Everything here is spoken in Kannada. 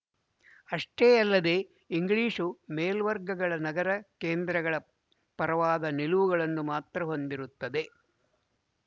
ಅಷ್ಟೇ ಯಲ್ಲದೇ ಇಂಗ್ಲಿಶು ಮೇಲ್ವರ್ಗಗಳ ನಗರ ಕೇಂದ್ರಗಳ ಪರವಾದ ನಿಲುವುಗಳನ್ನು ಮಾತ್ರ ಹೊಂದಿರುತ್ತದೆ